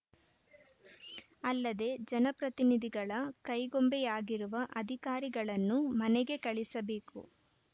ಅಲ್ಲದೆ ಜನಪ್ರತಿನಿಧಿಗಳ ಕೈಗೊಂಬೆಯಾಗಿರುವ ಅಧಿಕಾರಿಗಳನ್ನು ಮನೆಗೆ ಕಳಿಸಬೇಕು